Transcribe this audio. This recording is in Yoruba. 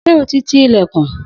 Sé o ti ti ìlẹ̀kùn.